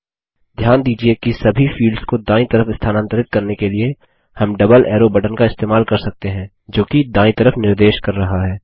ध्यान दीजिये कि सभी फील्ड्स को दायीं तरफ स्थानांतरित करने के लिए हम डबल एरो बटन का इस्तेमाल कर सकते हैं जोकि दायीं तरफ निर्देश कर रहा है